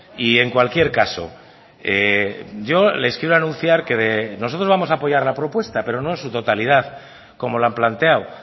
y en cualquier caso yo les quiero anunciar que nosotros vamos a apoyar la propuesta pero no en su totalidad como la han planteado